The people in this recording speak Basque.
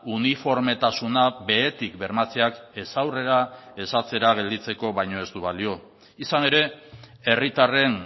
uniformetasuna behetik bermatzeak ez aurrera ez atzera gelditzeko baino ez du balio izan ere herritarren